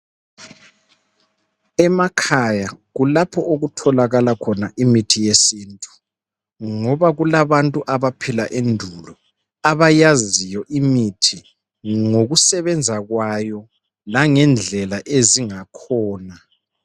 Emakhaya kulapho okutholakala khona imithi yesintu ngoba kulabantu abaphila endulo abayaziyo imithi ngokusebenza kwayo langendlela ezingakhona.